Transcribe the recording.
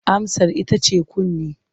Amsar ita ce kunne.